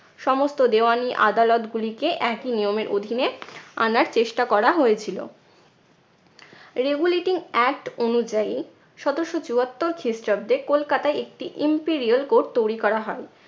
সমস্ত দেওয়ানি আদালতগুলিকে একই নিয়মের অধীনে আনার চেষ্টা করা হয়েছিলো। regulating act অনুযায়ী সতেরশো চুয়াত্তর খ্রিস্টাব্দে কলকাতায় একটি imperial court তৈরি করা হয়।